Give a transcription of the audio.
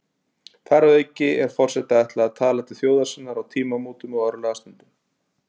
Þar að auki er forseta ætlað að tala til þjóðar sinnar á tímamótum og örlagastundum.